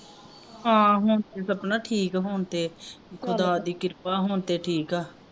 ਹਾਂ ਹੋਣ ਤੇ ਸਪਨਾ ਠੀਕ ਆ ਹੋਣ ਤੇ ਖੁਦਾ ਦੀ ਕ੍ਰਿਪਾ ਹੋਣ ਤੇ ਠੀਕ ਆ